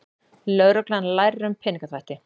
Lögreglan lærir um peningaþvætti